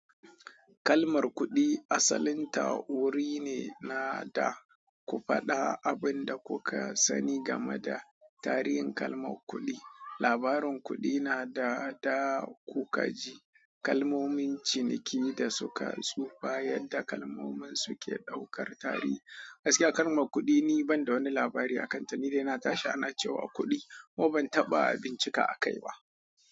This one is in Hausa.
Kalmar kuɗi asalin ta wuri ne na da ku faɗa abin da kuka sani game da tarihin kalmar kuɗi. Labarin kuɗi na da da kukaji, kalmomin ciniki da suka su bayar da kalmomin su ke ɗaukar tarihi. Gaskiya, kalmar kuɗi ni ban da wani labari a kanta. Nidai natashi ana cewa kudi kuma ban taba bincika akai ba.